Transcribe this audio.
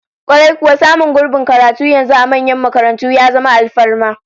Kwarai kuwa, samun gurbin karatu yanzu a manyan makarantu ya zama alfarma